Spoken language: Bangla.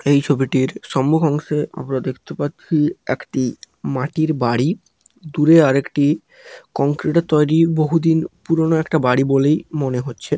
এই ছবিটির সম্মুখ অংশে আমরা দেখতে পাচ্ছি একটি মাটির বাড়ি দূরে আরেকটি কংক্রিট -এর তৈরি বহুদিন পুরনো একটা বাড়ি বলেই মনে হচ্ছে।